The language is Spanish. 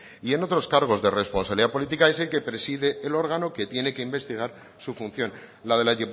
y en otros cargos de responsabilidad política es el que preside el órgano que tiene que investigar su función la de la